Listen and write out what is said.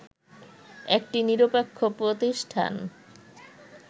একটি নিরপেক্ষ প্রতিষ্ঠান